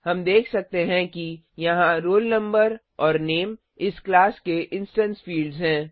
हम देख सकते हैं कि यहाँ roll no और नामे इस क्लास के इंस्टेंस फील्ड्स हैं